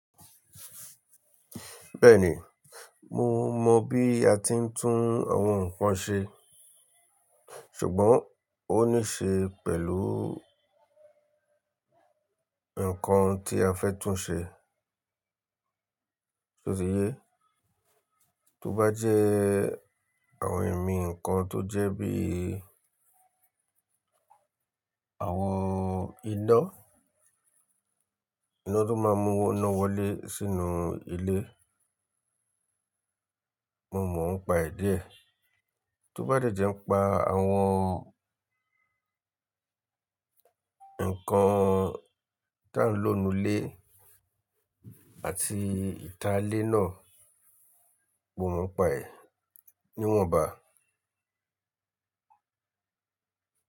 Bẹ́ẹ̀ni, mo mọ bí a ti ń tún àwọn nǹkan ṣe, ṣùgbọ́n ó níṣe pẹ̀lú nǹkan tí a fẹ́ tún ṣe. Ṣé o ti yé? Tó bá jẹ́ àwọn ẹ̀mí nǹkan tó jẹ́ bí àwọn iná, iná tó máa ń mú iná wọlé sínú ilé, mo mọ̀ ọ́n pa ẹ̀ díẹ̀. Tó bá jẹ́ jẹ́ ń pa àwọn nǹkan tá ń lò nù ilé àti ìta ilé náà, mo mọ̀ ọ́n pa ẹ̀. Niwọn ba.